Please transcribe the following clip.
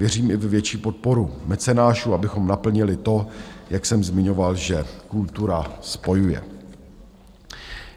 Věřím i ve větší podporu mecenášů, abychom naplnili to, jak jsem zmiňoval, že kultura spojuje.